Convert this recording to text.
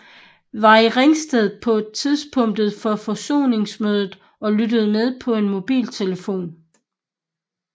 Var i Ringsted på tidspunktet for forsoningsmødet og lyttede med på en mobiltelefon